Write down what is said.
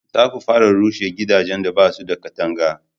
za ku fara rushe gidajen da basu da katanga!